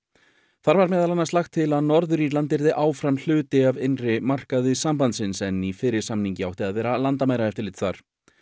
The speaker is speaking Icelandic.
þar var meðal annars lagt til að Norður Írland yrði áfram hluti af innri markaði sambandsins en í fyrri samningi átti að vera landamæraeftirlit þar